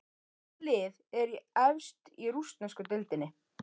Hvaða lið er efst í rússnesku deildinni?